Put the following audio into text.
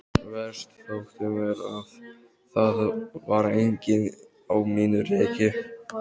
Verst þótti mér að það var enginn á mínu reki.